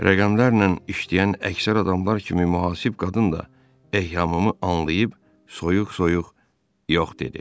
Rəqəmlərlə işləyən əksər adamlar kimi mühasib qadın da eyhamımı anlayıb soyuq-soyuq yox dedi.